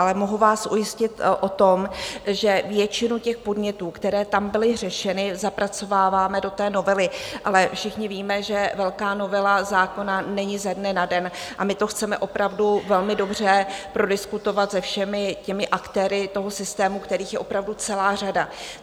Ale mohu vás ujistit o tom, že většinu těch podnětů, které tam byly řešeny, zapracováváme do té novely, ale všichni víme, že velká novela zákona není ze dne na den, a my to chceme opravdu velmi dobře prodiskutovat se všemi těmi aktéry toho systému, kterých je opravdu celá řada.